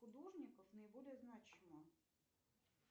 художников наиболее значима